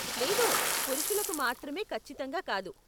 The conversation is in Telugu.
లేదు, పురుషులకి మాత్రమే ఖచ్చితంగా కాదు.